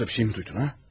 Yoxsa bir şeymi duydun, ha?